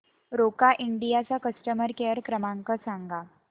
Roca India चा customer care क्रमांक सांगा